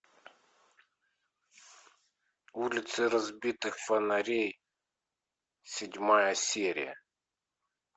улицы разбитых фонарей седьмая серия